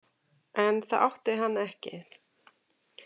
En það átti hann ekki.